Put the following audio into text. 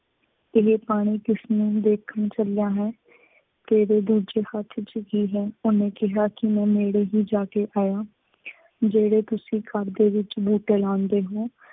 ਇਹ ਪਾਣੀ ਕਿਸ ਨੂੰ ਦੇਖਣ ਚੱਲਿਆਂ ਹੈਂ। ਤੇਰੇ ਦੂੱਜੇ ਹੱਥ ਚ ਕੀ ਹੈ। ਉਹਨੇ ਕਿਹਾ ਕਿ ਮੈਂ ਨੇੜੇ ਹੀ ਜਾ ਕੇ ਆਇਆ, ਜਿਹੜੇ ਤੁਸੀਂ ਖੱਡ ਦੇ ਵਿੱਚ ਬੂਟੇ ਲਾਉਂਦੇ ਹੋ।